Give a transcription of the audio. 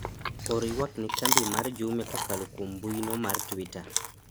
or ywak ne kambi mar jumia kokalo kuom mbuino mar twita